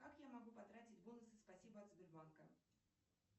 как я могу потратить бонусы спасибо от сбербанка